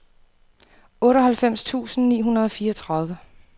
otteoghalvfems tusind ni hundrede og fireogtredive